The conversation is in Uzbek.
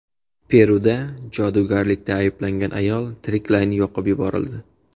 Peruda jodugarlikda ayblangan ayol tiriklayin yoqib yuborildi.